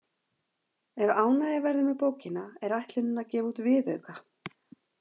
Ef ánægja verður með bókina er ætlunin að gefa út viðauka.